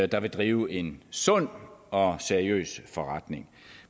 der vil drive en sund og seriøs forretning